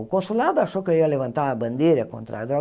O consulado achou que eu ia levantar a bandeira contra a droga.